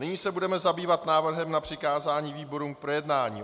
Nyní se budeme zabývat návrhem na přikázání výborům k projednání.